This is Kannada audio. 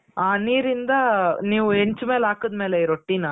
ಆ ನೀರಿಂದ ನೀವು ಹೆಂಚ್ ಮೇಲೆ ಹಾಕಿದಮೇಲೆ ರೊಟ್ಟಿನ